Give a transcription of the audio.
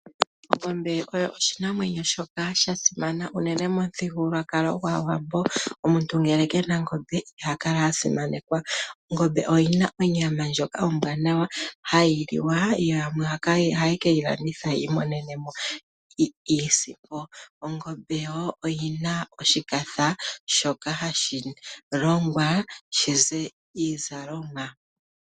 Ongombe oyo oshinamwenyo shoka sha simana unene momuthigululwakalo gwaawambo. Omuntu ngele kena ongombe iha kala asimanekwa . Ongombe oyina onyama ndjoka ombwanawa hayi liwa . Yamwe oha ye keyilanditha yi imonenemo iisimpo. Ongombe oyina woo oshikatha shoka hashi longwa shize iizalomwa